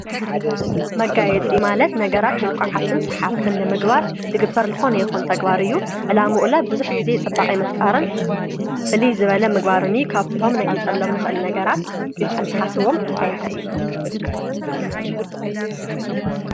መጋየጽ ማለት ነገራት ምልኰዓትን ሰሓብትን ልምግባር ልግበር ልኾነ የኾን ተግባርእዩ ዕላምኡላ ብዙኅ ጊዜ ጸባቐይመፍጣርን ፍሊ ዝበለ ምግባርኒ ካብቶም ነጊጸሎም ንኽእል ነገራት ኢልኹም ተሓስዎም እንተየንታይ እየ።